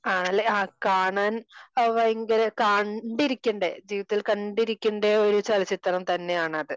അഹ് ലെ കാണാൻ, ഭയങ്കര കണ്ടിരിക്കേണ്ട തിയേറ്ററിൽ കണ്ടിരിക്കേണ്ട ഒരു ചലച്ചിത്രം തന്നെ ആണ് അത്